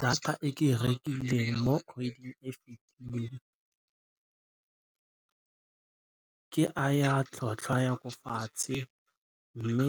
Data e ke rekileng mo kgweding ke ya tlhotlhwa ya ko fatshe mme